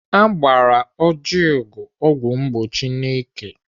Agbara Ojiugo ọgwụ mgbochi n'ike.